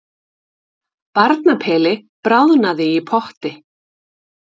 Barnapeli bráðnaði í potti